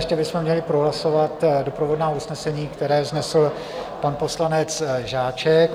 Ještě bychom měli prohlasovat doprovodná usnesení, která vznesl pan poslanec Žáček.